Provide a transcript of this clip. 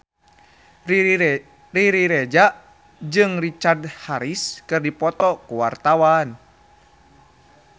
Riri Reza jeung Richard Harris keur dipoto ku wartawan